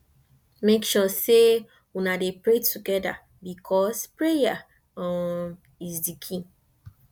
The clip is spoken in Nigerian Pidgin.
mek sure sey una dey pray togeda bikos prayer um is di key